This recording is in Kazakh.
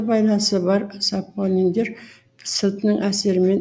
байланысы бар сапониндер сілтінің әсерімен